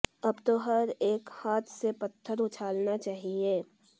अब तो हर इक हाथ से पत्थर उछलना चाहिये